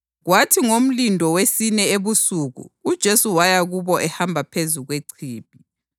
Kwathi ngomlindo wesine ebusuku uJesu waya kubo ehamba phezu kwechibi.